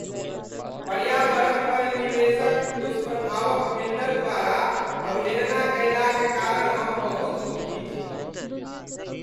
पर्यावरण पर निवेश क दुष्प्रभाव क बिल्डर द्वारा अवहेलना कयला क कारण हम बहुत दुखी छी ।